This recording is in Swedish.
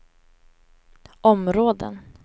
områden